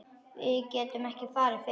Við getum ekki farið fyrr.